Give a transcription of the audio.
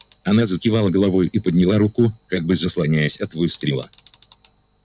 она закивала головою и подняла руку как бы заслоняясь от выстрела